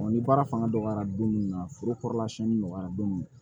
ni baara fanga dɔgɔyara don min na foro kɔrɔla siyɛnni nɔgɔyara don min na